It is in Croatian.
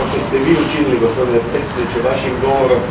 Onako kao što ste vi učinili, gospodine predsjedniče, vašim govorom.